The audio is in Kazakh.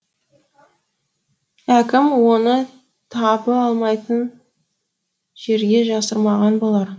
әкем оны табы алмайтын жерге жасырмаған болар